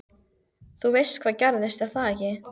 Þú veist hvað gerðist, er það ekki?